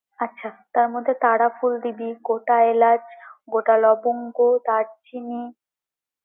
আচ্ছা তার মধ্যে তারাফুল ডিবি, গোটা এলাচ, গোটা লবঙ্গ, দারচিনি।